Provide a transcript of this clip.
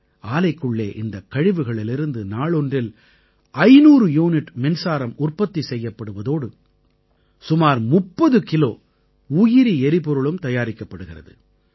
ஆலைக்குள்ளே இந்தக் கழிவுகளிலிருந்து நாளொன்றில் 500 யூனிட் மின்சாரம் உற்பத்தி செய்யப்படுவதோடு சுமார் 30 கிலோ உயிரி எரிபொருளும் தயாரிக்கப்படுகிறது